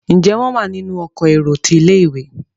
Njé wón wá nínú Ọkọ̀ èrò tí ilé-ìwé?